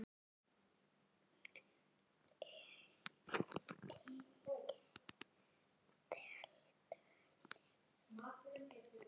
Eyddi talinu.